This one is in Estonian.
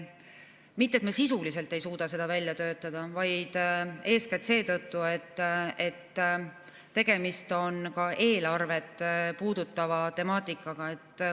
Mitte et me sisuliselt ei suuda seda välja töötada, vaid eeskätt seetõttu, et tegemist on ka eelarvet puudutava temaatikaga.